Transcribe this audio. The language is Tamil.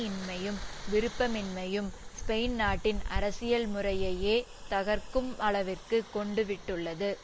இன்மையும் விருப்பமின்மையும் ஸ்பெயின் நாட்டின் அரசியல் முறையையே தகர்க்கும் அளவிற்கு கொண்டுவிட்டுள்ளது